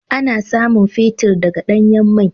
Ana samun fetir daga danyan mai.